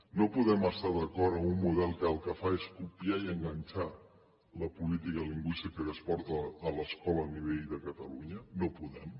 no podem estar d’acord amb un model que el que fa és copiar i enganxar la política lingüística que es porta a l’escola a nivell de catalunya no podem